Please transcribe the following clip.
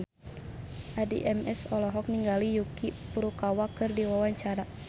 Addie MS olohok ningali Yuki Furukawa keur diwawancara